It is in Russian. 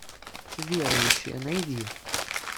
верующая найди